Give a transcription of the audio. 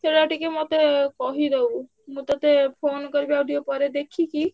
ସେଇଟା ମତେ ଟିକେ କହିଦବୁ ମୁଁ ତତେ phone କରିବି ଆଉଟିକେ ପରେ ଦେଖିକି।